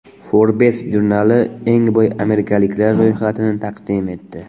Forbes jurnali eng boy amerikaliklar ro‘yxatini taqdim etdi.